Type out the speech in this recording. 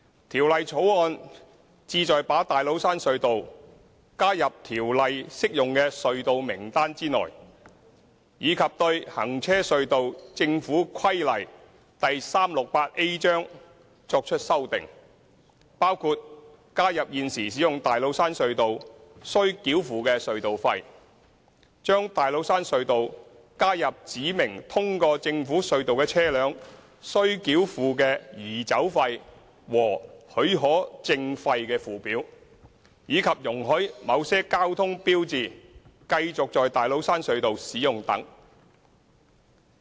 《條例草案》旨在把大老山隧道加入《條例》適用的隧道名單內，以及對《行車隧道規例》作出修訂，包括加入現時使用大老山隧道須繳付的隧道費、將大老山隧道加入指明通過政府隧道的車輛須繳付的移走費和許可證費的附表，以及容許某些交通標誌繼續在大老山隧道使用等。